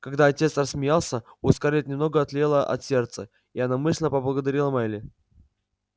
когда отец рассмеялся у скарлетт немного отлегло от сердца и она мысленно поблагодарила мелли